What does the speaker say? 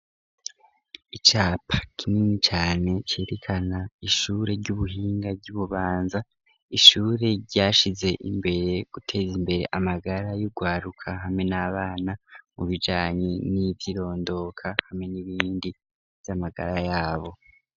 Icapa kinini cane, cerekana ishure ry'ubuhinga, ry'i Bubanza, ishure ryashize imbere, guteza imbere amagara y'urwaruka, hamwe n'abana, mu bijanye n'ivy'irondoka, hamwe n'ibindi, vy'amagara yabo.